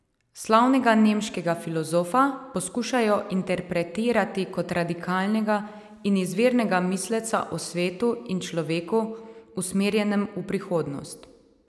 Slavnega nemškega filozofa poskušajo interpretirati kot radikalnega in izvirnega misleca o svetu in človeku, usmerjenem v prihodnost.